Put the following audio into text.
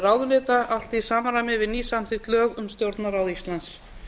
ráðuneyta allt í samræmi við nýsamþykkt lög um stjórnarráð íslands